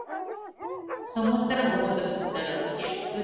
ସମୁଦ୍ର ବହୁତ ସୁନ୍ଦର ଅଛି ଏବେ